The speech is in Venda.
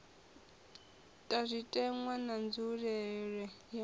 ta zwitenwa na nzulelele ya